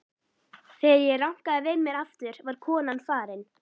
Þegar ég rankaði við mér aftur var konan farin.